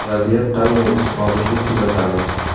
Vaziyat qanday tus olishini kuzatamiz.